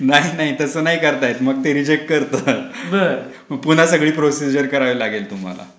नाही नाही तसं नाही करायचं. मग ते रिजेक्ट करतात. मग पुन्हा सगळे प्रोसिजर करावे लागेल तुम्हाला.